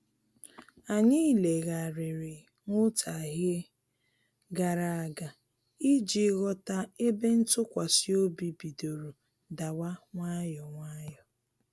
Anyị legharịrị nwutaghie gara aga iji ghọta ebe ntụkwasị obi bidoro dawa nwayọ nwayọ